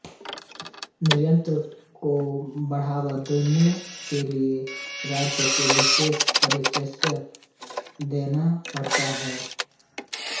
निर्यात को बढ़ावा देने के लिए राज्य को विशेष प्रोत्साहन देना पड़ता है